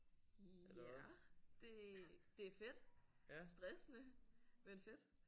Ja det det er fedt. Stressende men fedt